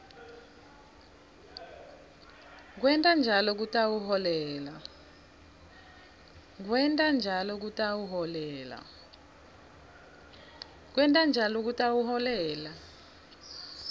kwenta njalo kutawuholela